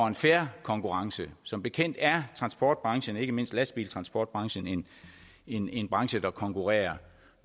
en fair konkurrence som bekendt er transportbranchen og ikke mindst lastbiltransportbranchen en en branche der konkurrerer